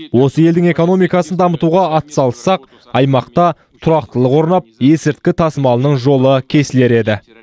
осы елдің экономикасын дамытуға атсалыссақ аймақта тұрақтылық орнап есірткі тасымалының жолы кесілер еді